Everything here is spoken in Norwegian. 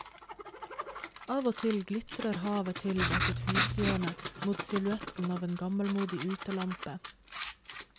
Av og til glitrer havet til bak et hushjørne mot silhuetten av en gammelmodig utelampe.